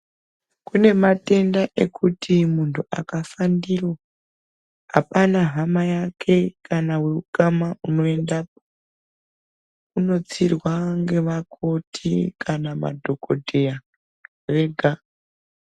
Kune matenda ekuti muntu akafa ndiro ,apana hama yake kana weukama unoendapo. Unotsirwa ngevakoti kana madhokodheya vega.